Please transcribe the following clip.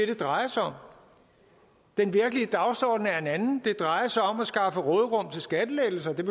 det drejer sig om den virkelige dagsorden er en anden det drejer sig om at skaffe råderum til skattelettelser det